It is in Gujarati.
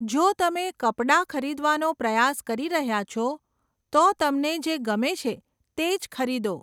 જો તમે કપડા ખરીદવાનો પ્રયાસ કરી રહ્યાં છો, તો તમને જે ગમે છે તે જ ખરીદો.